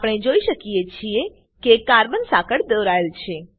આપણે જોઈએ છીએ કે કાર્બન સાંકળ દોરાયેલ છે